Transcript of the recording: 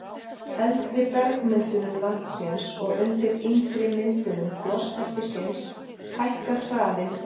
eldri bergmyndunum landsins og undir yngri myndunum gosbeltisins hækkar hraðinn upp í